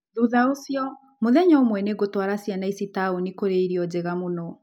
Thutha ũcio, mũthenya ũmwe nĩ ngũtwara ciana ici taũni kũrĩa irio njega mũno.